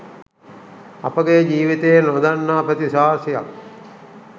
අපගේ ජීවිතයේ නොදන්නා පැති රාශියක්